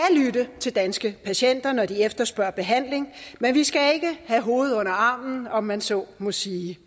lytte til danske patienter når de efterspørger behandling men vi skal ikke have hovedet under armen om man så må sige